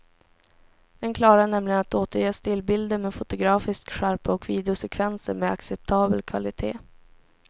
Den klarar nämligen att återge stillbilder med fotografisk skärpa och videosekvenser med acceptabel kvalitet.